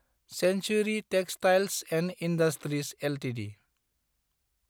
Centauri Textiles & Industries Ltd